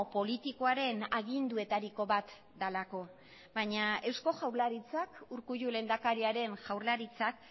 politikoaren aginduetariko bat delako baina eusko jaurlaritzak urkullu lehendakariaren jaurlaritzak